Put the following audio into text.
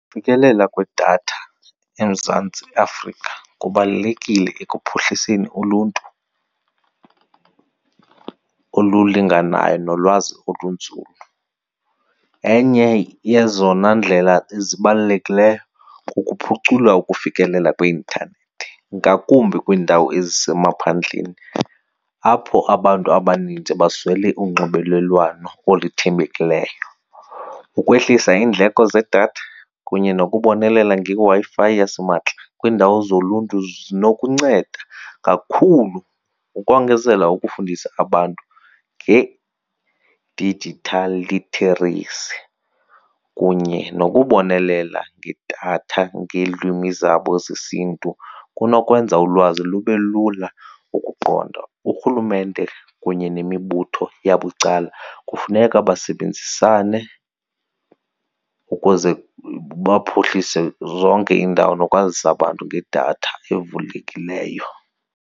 Ufikelela kwedatha eMzantsi Afrika kubalulekile ekuphuhliseni uluntu olulinganayo nolwazi olunzulu. Enye yezona ndlela zibalulekileyo kukuphucula ukufikelela kweintanethi ngakumbi kwiindawo ezisemaphandleni apho abantu abaninzi baswele unxibelelwano oluthembekileyo. Ukwehlisa iindleko zedatha kunye nokubonelela ngeWi-Fi yasimahla kwiindawo zoluntu zinokunceda kakhulu ukongezela ukufundisa abantu nge-digital literacy kunye nokubonelela ngedatha ngeelwimi zabo zesiNtu kunokwenza ulwazi lube lula ukuqonda. Urhulumente kunye nemibutho yabucala kufuneka basebenzisane ukuze baphuhlise zonke iindawo nokwazisa abantu ngedatha evulekileyo.